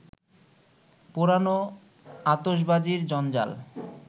পোড়ানো আতসবাজির জঞ্জাল